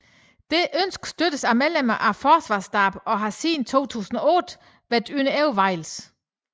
Dette ønske støttes af medlemmer af forsvarsstaben og har siden 2008 været under overvejelse